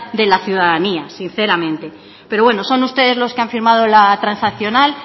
de la ciudadanía sinceramente pero bueno son ustedes los que han firmado la transaccional